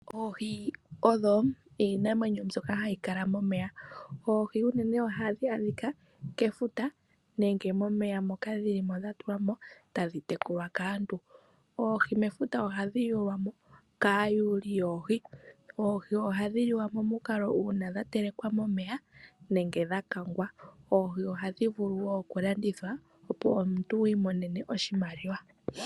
Oohi odho iinamwenyo mbyoka hayi kala momeya. Oohi unene ohadhi adhika kefuta nenge momeya moka dhili mo dha tulwa mo tadhi tekulwa kaantu. Oohi mefuta ohadhi yuulwa mo kaayuuli yoohi. Oohi ohadhi liwa momukalo uuna dha telekwa momeya nenge dha kangwa. Oohi ohadhi vulu woo okulandithwa opo omuntu wi imonene oshimaliwa.